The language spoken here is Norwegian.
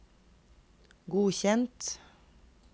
godkjent